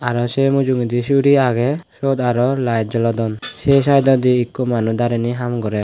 arow se mujugedi suri agey siyot arow laet jolodon se sytodi ikko manus dareney ham gorer .